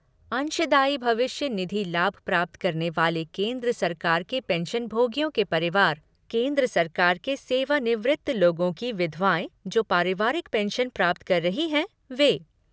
अंशदायी भविष्य निधि लाभ प्राप्त करने वाले केंद्र सरकार के पेंशनभोगियों के परिवार, केंद्र सरकार के सेवानिवृत्त लोगों की विधवाएँ जो पारिवारिक पेंशन प्राप्त कर रही हैं, वें।